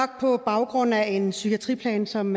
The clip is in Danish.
på baggrund af en psykiatriplan som